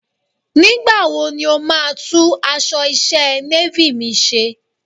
Nígbà wo ni o máa tún aṣọ iṣẹ́ Navy mi ṣe?